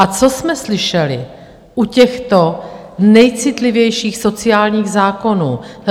A co jsme slyšeli u těchto nejcitlivějších sociálních zákonů?